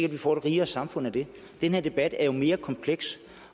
at vi får et rigere samfund af det den her debat er jo mere kompleks